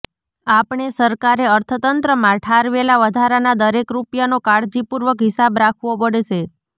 આપણે સરકારે અર્થતંત્રમાં ઠાલવેલા વધારાના દરેક રૂપિયાનો કાળજીપૂર્વક હિસાબ રાખવો પડશે